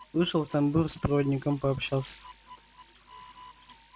вышел в тамбур с проводником пообщался